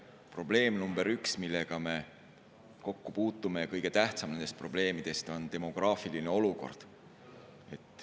Probleem number üks, millega me kokku puutume, kõige tähtsam nendest probleemidest on demograafiline olukord.